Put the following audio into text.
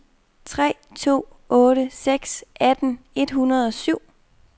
tre to otte seks atten et hundrede og syv